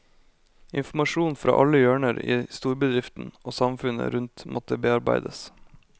Informasjon fra alle hjørner i storbedriften og samfunnet rundt måtte bearbeides.